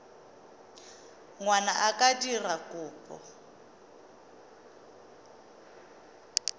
ngwana a ka dira kopo